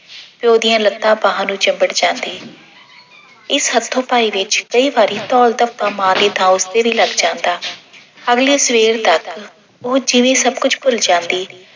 ਪਿਓ ਦੀਆਂ ਲੱਤਾਂ ਬਾਹਾਂ ਨੂੰ ਚੁੰਬੜ ਜਾਂਦੀ ਇਸ ਹੱਥੋ-ਪਾਈ ਵਿੱਚ ਕਈ ਵਾਰੀ ਧੌਲ-ਧੱਪਾ ਮਾਂ ਦੀ ਤਾਂ ਉਸੇ ਦੇ ਵੀ ਲੱਗ ਜਾਂਦਾ। ਅਗਲੀ ਸਵੇਰ ਤੱਕ ਉਹ ਜਿਵੇਂ ਸਭ ਕੁੱਝ ਭੁੱਲ ਜਾਂਦੀ